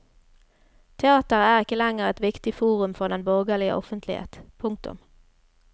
Teatret er ikke lenger et viktig forum for den borgerlige offentlighet. punktum